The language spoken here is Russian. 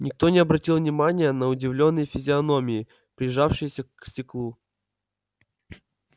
никто не обратил внимания на удивлённые физиономии прижавшиеся к стеклу